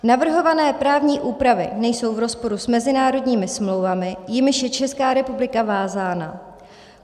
Navrhované právní úpravy nejsou v rozporu s mezinárodními smlouvami, jimiž je Česká republika vázána.